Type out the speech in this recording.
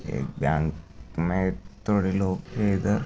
एक बैंक मे थोड़े लोग है। इधर--